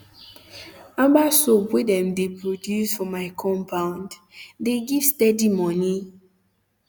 um herbal soap wey dem de produce for my um compound the give steady moni um